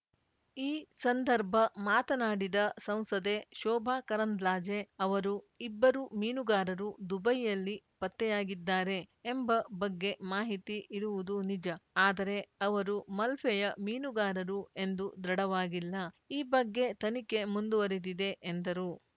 ಈ ಸಂದರ್ಭ ಮಾತನಾಡಿದ ಸಂಸದೆ ಶೋಭ ಕರಂದ್ಲಾಜೆ ಅವರು ಇಬ್ಬರು ಮೀನುಗಾರರು ದುಬೈಯಲ್ಲಿ ಪತ್ತೆಯಾಗಿದ್ದಾರೆ ಎಂಬ ಬಗ್ಗೆ ಮಾಹಿತಿ ಇರುವುದು ನಿಜ ಆದರೆ ಅವರು ಮಲ್ಪೆಯ ಮೀನುಗಾರರು ಎಂದು ದೃಢವಾಗಿಲ್ಲ ಈ ಬಗ್ಗೆ ತನಿಖೆ ಮುಂದುವರಿದಿದೆ ಎಂದರು